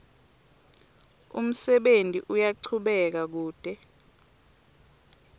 umsebenti uyachubeka kute